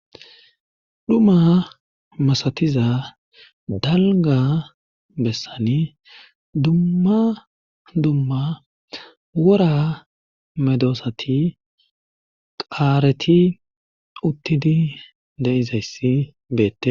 Dhumma masatiza dalga bessani dumma dumma wora medoosati qaareti uttidi de7izayssi beette.